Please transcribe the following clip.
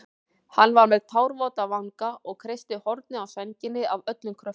Hann var með tárvota vanga og kreisti hornið á sænginni af öllum kröftum.